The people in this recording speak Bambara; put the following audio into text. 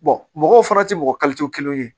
mɔgɔw fana tɛ mɔgɔ kelen ye